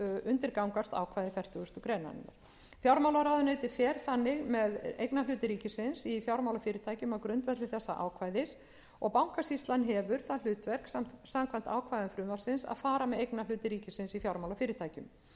undirgangast ákvæði fertugasti greinarinnar fjármálaráðuneytið fer þannig með eignarhluti ríkisins í fjármálafyrirtækjum á grundvelli þessa ákvæðis og bankasýslan hefur það hlutverk samkvæmt ákvæðum frumvarpsins að fara með eignarhluti ríkisins í fjármálafyrirtækjum